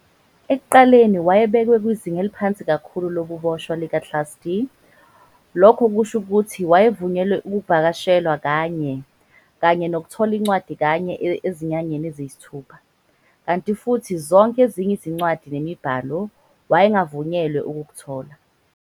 Ekuqaleni wayebekwe kwizinga eliphansi kakhulu lobuboshwa lika-Class D, lokhu okusho ukuthi wayevunyelwe ukuvakashelwa kanye kanye nokuthola incwadi kanye ezinyangeni eziyisithupha, kanti futhi zonke ezinye izincwadi nemibhalo, wayengavunyelwe ukukuthola.